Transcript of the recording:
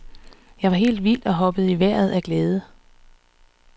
Jeg var helt vild og hoppede i vejret af glæde.